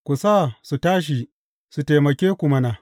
Ku sa su tashi su taimake ku mana!